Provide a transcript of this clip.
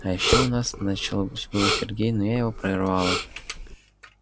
а ещё у нас начал было сергей но я его прервала